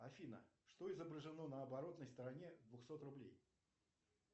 афина что изображено на оборотной стороне двухсот рублей